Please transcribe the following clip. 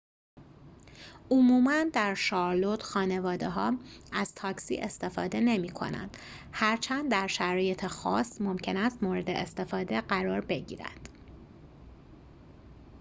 عموماً در شارلوت خانواده‌ها از تاکسی استفاده نمی‌کنند هرچند در شرایط خاص ممکن است مورد استفاده قرار بگیرند